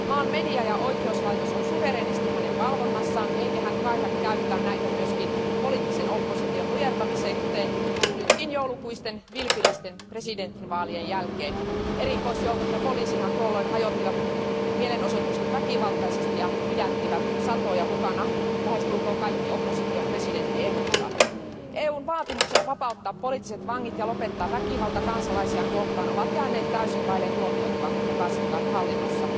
Maan media ja oikeuslaitos ovat suvereenisti hänen valvonnassaan, eikä hän kaihda käyttää näitä myöskin poliittisen opposition nujertamiseen, kuten nytkin joulukuisten vilpillisten presidentinvaalien jälkeen. Erikoisjoukot ja poliisihan tuolloin hajottivat mielenosoitukset väkivaltaisesti ja pidättivät satoja, mukana lähestulkoon kaikki opposition presidenttiehdokkaat. EUn vaatimukset vapauttaa poliittiset vangit ja lopettaa väkivalta kansalaisia kohtaan ovat jääneet täysin vaille huomiota Lukašenkan hallinnossa.